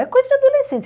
É coisa de adolescente.